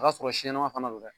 O y'a sɔrɔ si ɲɛnɛma fana don dɛ.